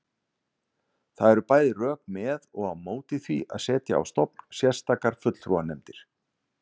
Það eru bæði rök með og á móti því að setja á stofn sérstakar fulltrúanefndir.